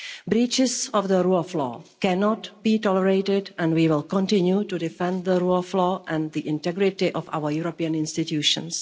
Breaches of the rule of law cannot be tolerated, and we will continue to defend the rule of law and the integrity of our European institutions.